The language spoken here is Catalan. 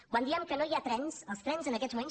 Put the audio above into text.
quan diem que no hi ha trens els trens en aquests moments